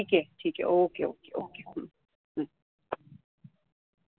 ठीक आहे, ठीक आहे okay okay okay हम्म हम्म